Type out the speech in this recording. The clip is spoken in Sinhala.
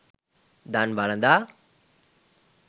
දන් වළඳා